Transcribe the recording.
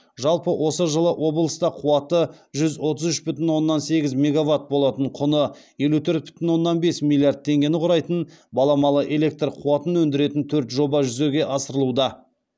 жалпы осы жылы облыста қуаты жүз отыз үш бүтін оннан сегіз мегаватт болатын құны елу төрт бүтін оннан бес миллиард теңгені құрайтын баламалы электр қуатын өндіретін төрт жоба жүзеге асырылуда